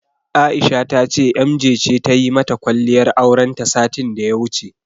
Aisha ta ce Emjee ce tayi mata kwalliyar aurenta satin daya wuce.